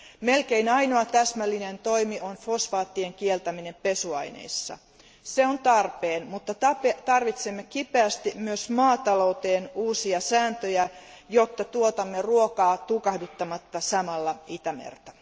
Melkein ainoa täsmällinen toimi on fosfaattien kieltäminen pesuaineissa. Se on tarpeen, mutta tarvitsemme kipeästi myös maatalouteen uusia sääntöjä, jotta tuotamme ruokaa tukahduttamatta samalla Itämerta.